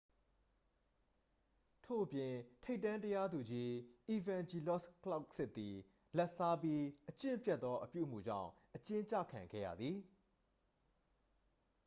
ထို့အပြင် ထိပ်တန်း တရားသူကြီး အီဗန်ဂျီလော့စ် ကလောက်စစ်သည် လာဘ်စားပြီး အကျင့်ပျက်သော အပြုအမူကြောင့် အကျဉ်းကျခံခဲ့ရသည်